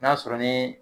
N'a sɔrɔ ni